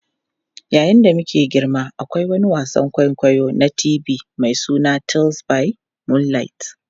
Yayin da muke girma, akwai wani wasan kwaikwayo na TV mai suna Tales by Moonlight.